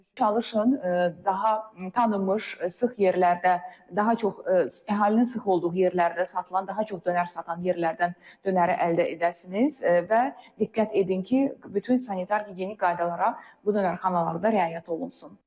çalışın daha tanınmış, sıx yerlərdə, daha çox əhalinin sıx olduğu yerlərdə satılan, daha çox dönər satan yerlərdən dönəri əldə edəsiniz və diqqət edin ki, bütün sanitar gigiyenik qaydalara bu dönərxanalarda riayət olunsun.